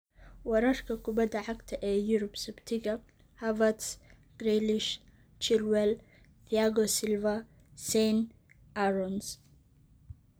Wararka kubadda cagta ee Yurub Sabtida : Havertz, Grealish, Chilwell, Thiago Silva, Sane, Aarons